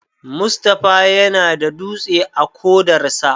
Mustapha yana da dutse a kodarsa.